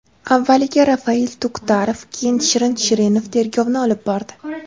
Avvaliga Rafail Tuktarov, keyin Shirin Shirinov tergovni olib bordi.